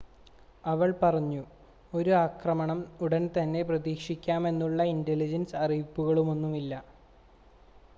"അവള്‍ പറഞ്ഞു "ഒരു ആക്രമണം ഉടന്‍തന്നെ പ്രതീക്ഷിക്കാമെന്നുള്ള ഇന്‍റലിജന്‍സ് അറിയിപ്പുകളൊന്നുമില്ല.